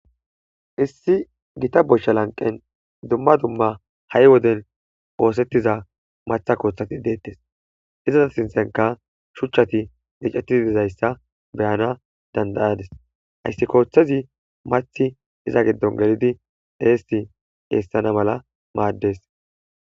Issi gita boshsha lanqen dumma dumma ha7i woden woosettiza matha koothati deettes izaza sinthenka shuchchati icettii dizayssa beyana dandayades hayssi kooththezi mathi iza giddon gelidi deessi eessana mala maaddes